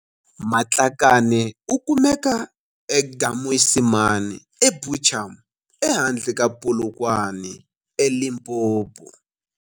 Matlakane u kumeka eGaMoisimane eBuchum ehandle ka Polokwane eLimpopo.